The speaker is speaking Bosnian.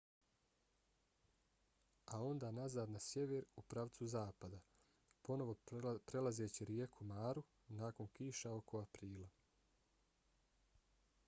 a onda nazad na sjever u pravcu zapada ponovo prelazeći rijeku maru nakon kiša oko aprila